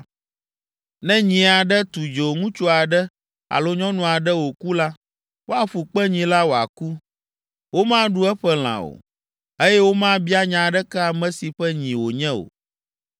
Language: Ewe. “Ne nyi aɖe tu dzo ŋutsu aɖe alo nyɔnu aɖe wòku la, woaƒu kpe nyi la wòaku; womaɖu eƒe lã o, eye womabia nya aɖeke ame si ƒe nyi wònye o.